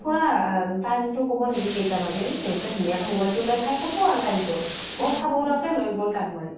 খুৰা, time তো কʼব নেকি কেইটা বাজিল ? দেউতা ধুনীয়া কে mobile তো উলাই চাই কʼব আৰু time তো । অʼ চাব উলাওতে লৈ গʼল টান মাৰি ।